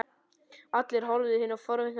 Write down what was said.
Hinir horfðu á þá forvitnir á svip.